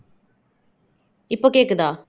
இப்போ கேக்குதா